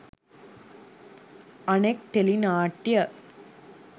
අනෙක් ටෙලි නාට්‍යය